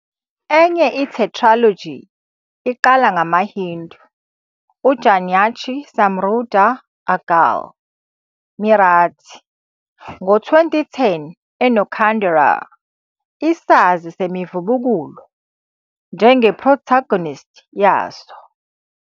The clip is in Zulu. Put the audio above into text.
Enye i-tetralogy iqala "ngamaHindu - uJagnyachi Samruddha Adgal", Marathi, ngo-2010 enoKhanderao, isazi semivubukulo njenge-protagonist yaso.